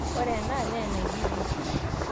ore enaa naa aibibiu